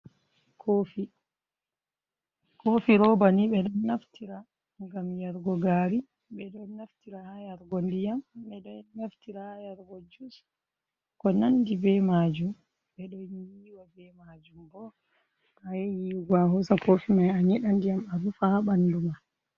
Kofi robani ɓe ɗon naftira gam yarugo gari, ɓe ɗon naftira ha yarugo ndiyam, ɓe ɗo naftira hayarugo jus, ko nandi be majum, ɓe ɗon yiwa be majum to a yahi yi go ma, hosa kofi mai a nyeɗa diyam a rufa ha ɓandu ma.